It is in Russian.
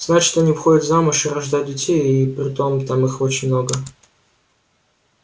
значит они выходят замуж и рождают детей и притом их там очень много